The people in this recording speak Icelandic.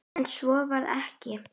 En svo varð ekki.